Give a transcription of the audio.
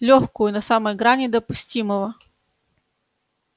лёгкую на самой грани допустимого